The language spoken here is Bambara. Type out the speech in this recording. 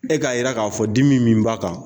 E k'a jira k'a fɔ dimi min b'a kan